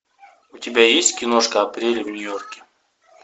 у тебя есть киношка апрель в нью йорке